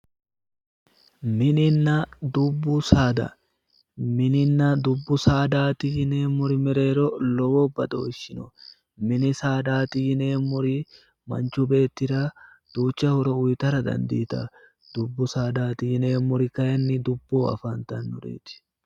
Mininna dubbu saada, mininna dubbu saadati yineemmori mereero lowo badooshshi no mini saadaati yineemmori manchu beettira duucha horo uytara dandiitanno, dubbu saadati yineemmori kayiinni dubboho afantannoreeti.